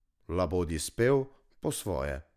Labodji spev, po svoje.